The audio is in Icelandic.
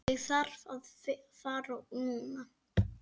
Ég þarf að fara núna